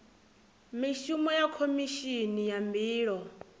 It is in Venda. mishumo ya khomishini ya mbilo